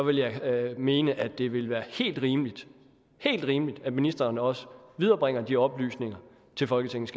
vil jeg mene at det vil være helt rimeligt helt rimeligt at ministeren også viderebringer de oplysninger til folketingets